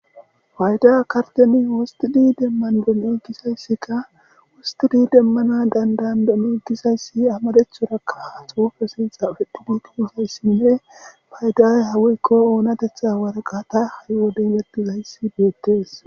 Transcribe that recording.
wayda karteni wostudi demman bon egisayssikka wustudi demmana dandandom egisayssi amadethorakka xuufe sintxa petidi tiizayssinne payday hawikko oonatetha warqata haywodeletizayssi beettees